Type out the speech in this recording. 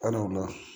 Ali wulada